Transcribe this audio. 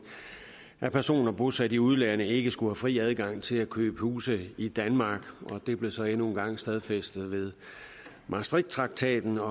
at personer bosat i udlandet ikke skulle have fri adgang til at købe huse i danmark og det blev så endnu en gang stadfæstet ved maastrichttraktaten og